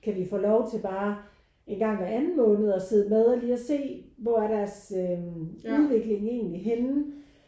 Kan vi få lov til bare engang hver anden måned at sidde med og lige se hvor er deres udvikling egentlig henne?